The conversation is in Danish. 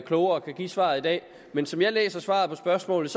klogere og kan give svaret i dag men som jeg læser svaret på spørgsmålet